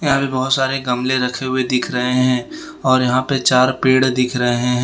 यहां पे बहोत सारे गमले रखे हुए दिख रहे हैं और यहां पे चार पेड़ दिख रहे हैं